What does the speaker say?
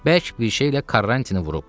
Bərk bir şeylə Karrantini vurub.